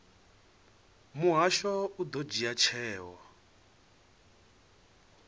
muhasho u ḓo dzhia tsheo